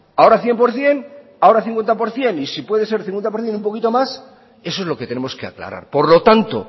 ahora cien por ciento ahora cincuenta por ciento y si puede ser cincuenta por ciento y un poquito más eso es lo que tenemos que aclarar por lo tanto